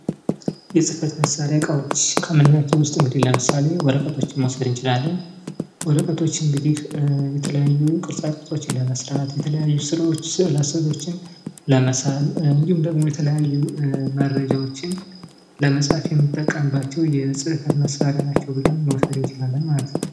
የፅህፈት መሳሪያ እቃዎች ከምንላቸው መካከል ወረቀቶችን መውሰድ እንችላለን ።እንግዲህ ወረቀት የተለያዩ ቅርጻ ቅርጾችን ለመስራት ፣ስዕላስዕሎችን ለመሳል እንዲሁም ደግሞ የተለያዩ መረጃዎችን ለመፃፍ የምንጠቀምባቸው የፅህፈት መሳሪያ ናቸው ብለን መውሰድ እንችላለን ማለት ነው ።